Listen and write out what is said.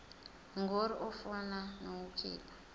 ngur ukufuna nokukhipha